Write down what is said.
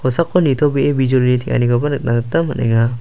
kosako nitobee bijolini teng·anikoba nikna gita man·enga.